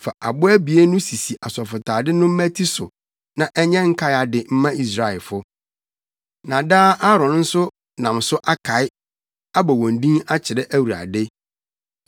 Fa abo abien no sisi asɔfotade no mmati so na ɛnyɛ nkae ade mma Israelfo. Na daa Aaron nso nam so akae, abɔ wɔn din akyerɛ Awurade.